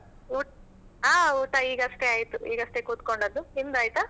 ಉಟ್ ಹಾ ಊಟ ಈಗಷ್ಟೆ ಆಯ್ತು ಈಗಷ್ಟೆ ಕೂತ್ಕೊಂಡದ್ದು, ನಿಮ್ದಾಯ್ತಾ?